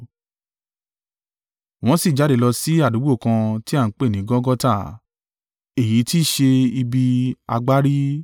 Wọ́n sì jáde lọ sí àdúgbò kan tí à ń pè ní Gọlgọta (èyí tí í ṣe “Ibi Agbárí”).